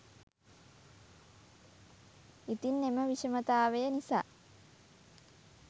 ඉතින් එම විෂමතාවය නිසා